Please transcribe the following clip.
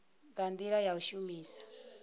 nga ndila ya u shumisa